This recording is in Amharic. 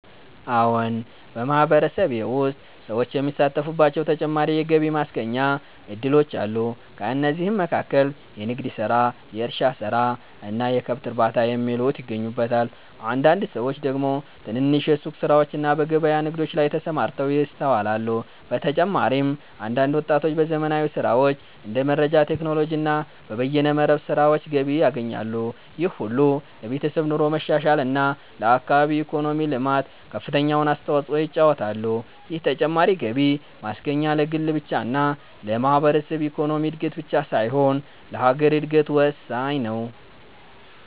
አዎን !በማህበረሰቤ ውስጥ ሰዎች የሚሳተፉባቸው ተጨማሪ የገቢ ማስገኛ እድሎች አሉ። ከእነዚህም መካከል የንግድ ስራ፣ የእርሻ ስራ እና የከብት እርባታ የሚሉት ይገኙበታል። አንዳንድ ሰዎች ደግሞ ትንንሽ የሱቅ ስራዎችና በገበያ ንግዶች ላይ ተሰማርተው ይስተዋላል። በተጨማሪም አንዳንድ ወጣቶች በዘመናዊ ስራዎች እንደ መረጃ ቴክኖሎጂ እና በበይነ መረብ ስራዎች ገቢ ያገኛሉ። ይህ ሁሉ ለቤተሰብ ኑሮ መሻሻል እና ለአካባቢ ኢኮኖሚ ልማት ከፍተኛውን አስተዋጽኦ ይጫወታሉ። ይህ ተጨማሪ ገቢ ማስገኛ ለግል ብቻ እና ለማህበረሰብ ኢኮኖሚ እድገት ብቻ ሳይሆን ለሀገር እድገት ወሳኝ ነው።